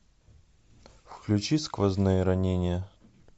включи сквозные ранения